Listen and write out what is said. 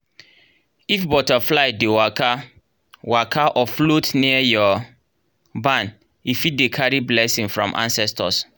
if butterfly dey waka-waka or float near your barn e fit dey carry blessing from ancestors.